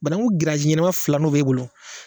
Banaangu giriyazi ɲɛnɛma fila n'o b'e bolo